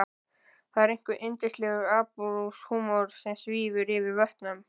Það er einhver yndislegur absúrd-húmor sem svífur yfir vötnum.